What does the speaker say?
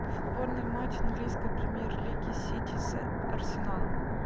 футбольный матч английской премьер лиги сити с арсеналом